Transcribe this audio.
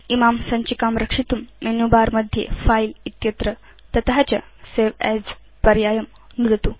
इमां सञ्चिकां रक्षितुं मेनु बर मध्ये फिले इत्यत्र तत च सवे अस् पर्यायं नुदतु